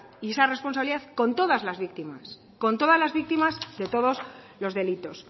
y esa responsabilidad con todas las víctimas de todos los delitos